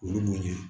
O ye mun ye